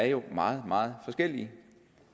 jo er meget meget forskellige